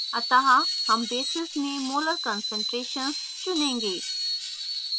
अतः हम basis में molar concentrations चुनेंगे